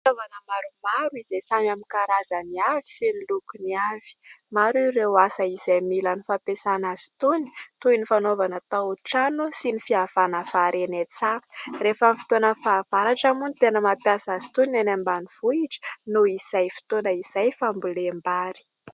Fitaovana maromaro izay samy amin'ny karazany avy sy ny lokony avy. Maro ireo asa izay mila ny fampiasana azy itony toy ny fanaovana tao-trano sy ny fiavana vary eny an-tsaha. Rehefa fotoanan'ny fahavaratra moa no tena mampiasa azy itony ny any ambanivohitra noho izy fotoana izay fambolem-bary.